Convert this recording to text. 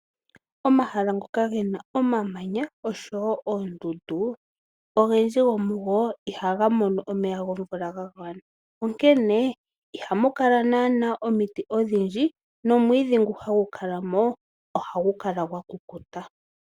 Omahala ngoka gena omamanya osho woo oondundu iha ga mono omeya gomvula ga gwana. Onkene ihamu naanawa omiti odhindji nomwiidhi ngu hagu kala ko ohagu kala gwa kukuta.